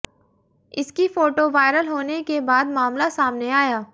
इसकी photo viral होने के बाद मामला सामने आया